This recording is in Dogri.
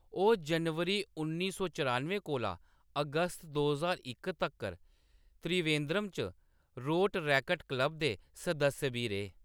ओह्‌‌ जनवरी उन्नी सौ चरानुएं कोला अगस्त दो ज्हार इक तक्कर त्रिवेन्द्रम च रोटरैक्ट क्लब दे सदस्य बी रेह्।